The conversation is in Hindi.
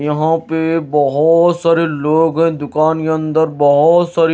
यहां पे बहोत सारे लोग है। दुकान के अंदर बहोत सारी--